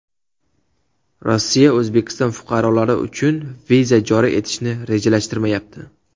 Rossiya O‘zbekiston fuqarolari uchun viza joriy etishni rejalashtirmayapti.